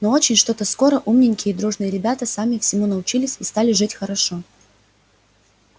но очень что-то скоро умненькие и дружные ребята сами всему научились и стали жить хорошо